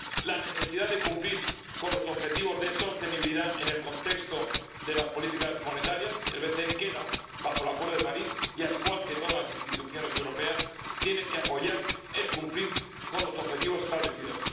la necesidad de cumplir los objetivos de sostenibilidad en el contexto de las políticas monetarias —el BCE queda bajo el Acuerdo de París y, al igual que todas las instituciones europeas, tiene que apoyar el cumplir los objetivos establecidos—